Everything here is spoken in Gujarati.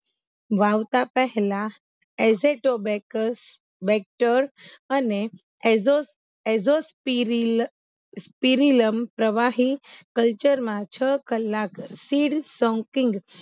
વાવતા પેહલા એસેટોબેકસ બેક્તર અને એઝોસ એઝોસ સિરિલ સીરીલમ પ્રવાહી કલ્ચરમાં છ કલાક સીડ સોન્કીંગ